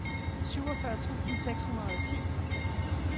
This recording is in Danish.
syvogfyrre tusind seks hundrede og ti